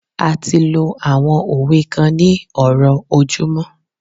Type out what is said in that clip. a ti lo àwọn òwe kan ní ọrọ ojumọ